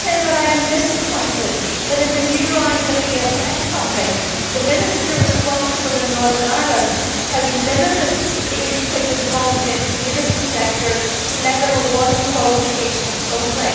I am disappointed that, in the new round of ESF funding, the Minister responsible in Northern Ireland has limited the input of the voluntary and community sector to level one qualifications only.